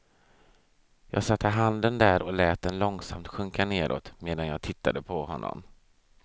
Jag satte handen där och lät den långsamt sjunka neråt, medan jag tittade på honom.